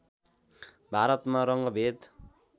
भारतमा रङ्गभेद